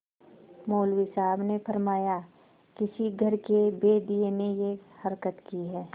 मौलवी साहब ने फरमाया किसी घर के भेदिये ने यह हरकत की है